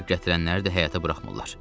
Ərzaq gətirənləri də həyətə buraxmırlar.